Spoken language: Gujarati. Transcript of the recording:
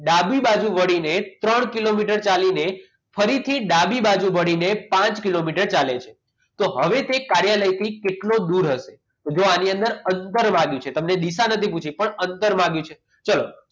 ડાબી બાજુ વળીને ત્રણ કિલોમીટર ચાલીને ફરીથી ડાબી બાજુ વળીને પાંચ કિલોમીટર ચાલે છે તો હવે તે કાર્યાલયથી કેટલો દૂર હશે તો જો આની અંતર માગ્યું છે તમને દિશા નથી પૂછી પરંતુ અંતર માંગ્યું છે જો ચલો